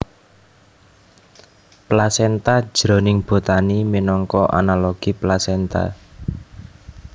Plasenta jroning botani minangka analogi plasenta